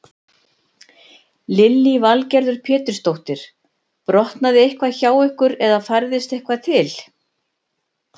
Lillý Valgerður Pétursdóttir: Brotnaði eitthvað hjá ykkur eða færðist eitthvað til?